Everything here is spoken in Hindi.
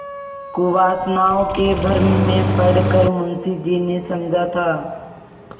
कुवासनाओं के भ्रम में पड़ कर मुंशी जी ने समझा था